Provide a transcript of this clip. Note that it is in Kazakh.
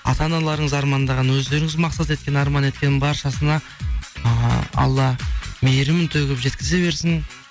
ата аналарыңыз армандаған өздеріңіз мақсат еткен арман еткен баршасына ыыы алла мейірімін төгіп жеткізе берсін